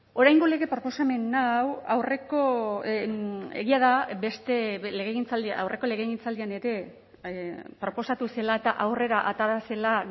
oraingo lege proposamen hau aurreko egia da beste legegintzaldia aurreko legegintzaldian ere proposatu zela eta aurrera atera zela